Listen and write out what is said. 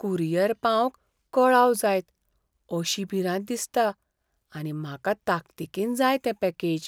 Courier पावंक कळाव जायत अशी भिरांत दिसता आनी म्हाका ताकतीकेन जाय तें पॅकेज.